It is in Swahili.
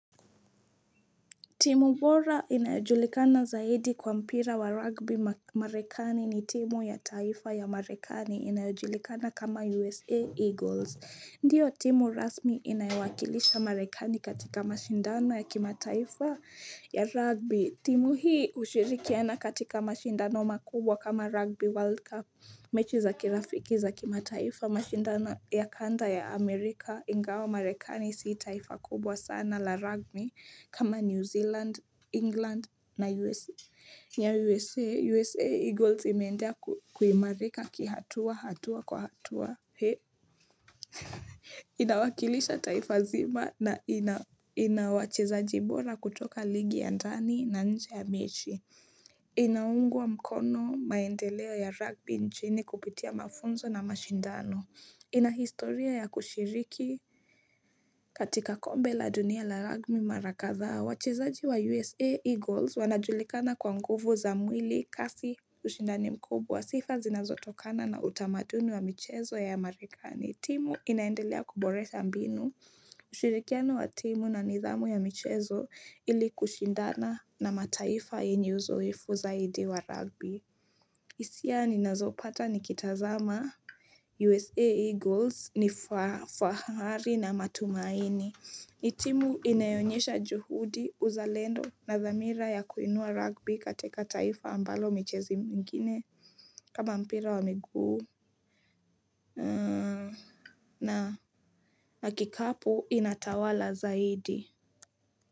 Timu bora inajulikana zaidi kwa mpira wa rugby marekani ni timu ya taifa ya marekani inayojulikana kama USA Eagles. Ndiyo timu rasmi inayowakilisha marekani katika mashindano ya kimataifa ya rugby. Timu hii hushirikiana katika mashindano makubwa kama rugby World Cup. Mechi za kirafiki za kimataifa mashindana ya kanda ya Amerika ingawa marekani si taifa kubwa sana la rugby kama New Zealand, England na USA. Na USA, USA Eagles imeendea kuimarika kihatua hatua kwa hatua he. Inawakilisha taifa zima na ina wacheza bora kutoka ligi ya ndani na nje ya mechi. Inaungwa mkono maendeleo ya rugby nchini kupitia mafunzo na mashindano ina historia ya kushiriki katika kombe la dunia la rugby mara kadhaa wachezaji wa USA Eagles wanajulikana kwa nguvu za mwili kasi ushindani mkubwa sifa zinazotokana na utamaduni wa michezo ya Amerikani timu inaendelea kuboresha mbinu Shirikiano wa timu na nidhamu ya michezo ili kushindana na mataifa yenye uzoefu zaidi wa rugby hisia ninazopata nikitazama USA Eagles ni fahari na matumaini ni timu inayoonyesha juhudi uzalendo na dhamira ya kuinua rugby katika taifa ambalo michezo mengine kama mpira wa miguu na kikapu inatawala zaidi.